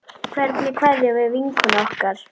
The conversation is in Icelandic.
Fundu Súmerar upp hjólið?